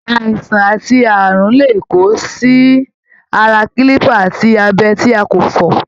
Àìsàn ati ààrùn lè kó sí ara kilipa àti abẹ tí a kò fọ.